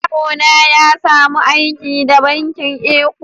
Yaro na ya samu aiki da bankin Eco.